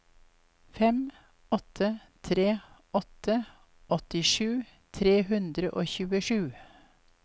fem åtte tre åtte åttisju tre hundre og tjuesju